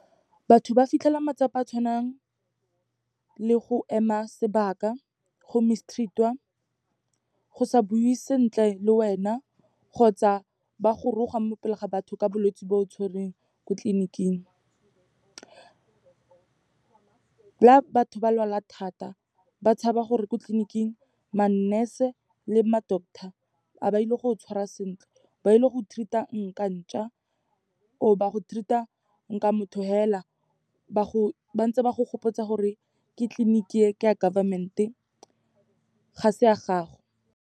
Batho ba fitlhela matsapa a tshwanang le go ema sebaka, go mistreat-iwa, go sa buiwe sentle le wena, kgotsa ba go roga mo pele ga batho ka bolwetse bo o tshwereng ko tleliniking. La batho ba lwala thata, ba tshaba gore ko tleliniking ma-nurse-e le ma-doctor, ha ba ile go tshwara sentle, ba ile go treat-a nka ntšwa or ba go treat-a nka motho fela, bantse ba go gopotsa gore ke tleliniki e, ke ya government-e, ga se ya gago.